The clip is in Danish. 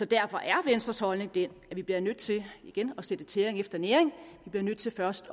derfor er venstres holdning den at vi bliver nødt til igen at sætte tæring efter næring vi bliver nødt til først